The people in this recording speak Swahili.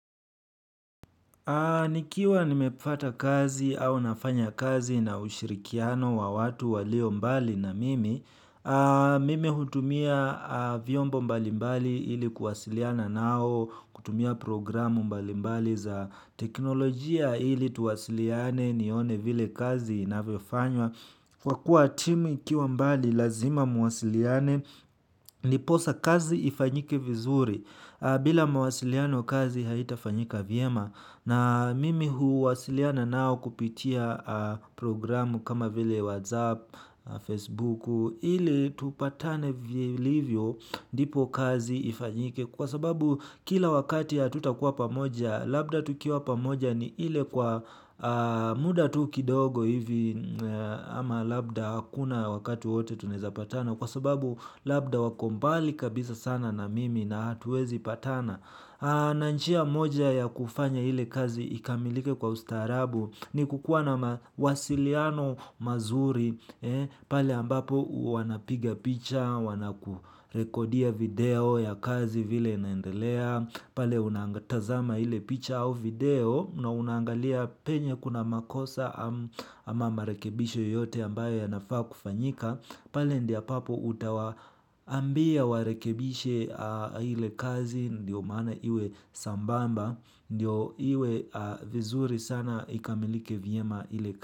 Nikiwa nimefata kazi au nafanya kazi na ushirikiano wa watu walio mbali na mimi, mimi hutumia vyombo mbali mbali ili kuwasiliana nao, kutumia programu mbali mbali za teknolojia ili tuwasiliane nione vile kazi inavyofanywa. Kwa kuwa timu ikiwa mbali lazima muwasiliane ni posa kazi ifanyike vizuri bila mawasiliano kazi haita fanyika vyema na mimi hu wasiliana nao kupitia programu kama vile Whatsapp, Facebook ili tupatane vilivyo ndipo kazi ifanyike kwa sababu kila wakati ha tutakuwa pamoja. Labda tukiwa pamoja ni ile kwa muda tuki dogo hivi ama labda hakuna wakati wowote tunaeza patana. Kwa sababu labda wakombali kabisa sana na mimi na hatuwezi patana nanjia moja ya kufanya ile kazi ikamilike kwa ustarabu ni kukuwa na wasiliano mazuri pale ambapo wanapiga picha, wanakurekodia video ya kazi vile naendelea, pale unangatazama ile picha au video na unangalia penye kuna makosa ama marekebisho yoyote ambayo yanafaa kufanyika, pale ndia papo utawa ambia warekebishe ile kazi ndio maana iwe sambamba, ndio iwe vizuri sana ikamilike vyema ile kazi.